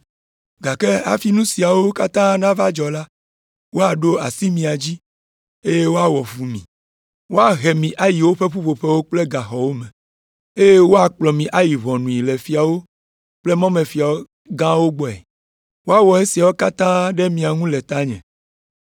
“Gake hafi nu siawo katã nava dzɔ la, woaɖo asi mia dzi, eye woawɔ fu mi. Woahe mi ayi woƒe ƒuƒoƒewo kple gaxɔwo me, woakplɔ mi ayi ʋɔnui le fiawo kple mɔmefia gãwo gbɔe. Woawɔ esiawo katã ɖe mia ŋu le tanye.